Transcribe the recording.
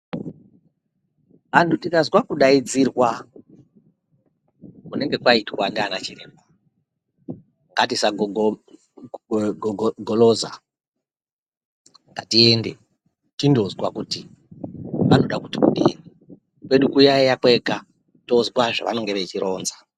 Anthu tikazwa kudaidzirwa kunenge kwaitwa ndiana chiremba ,ngatisagogoma ,gogoloza ,ngatiende tindonzwa kuti vanode kuti kudini kwedu kuyaiya kwega tozwa zvevanenge veida kuronza.